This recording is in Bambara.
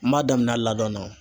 N m'a daminɛn a ladɔn na.